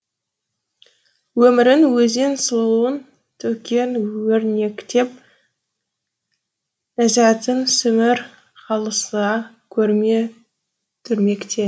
өмірің өзен сұлуың төккен өрнектеп ләзатын сімір қалыса көрме дүрмекте